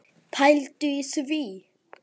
Pældu í því!